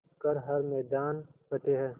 कर हर मैदान फ़तेह